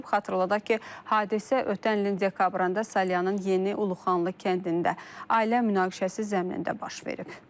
Xatırladaq ki, hadisə ötən ilin dekabrında Salyanın Yeni Uluxanlı kəndində ailə münaqişəsi zəminində baş verib.